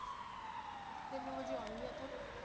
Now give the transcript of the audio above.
ਤਿੰਨ ਵਜੇ ਆਉਣਗੇ ਇਹ ਤਾਂ।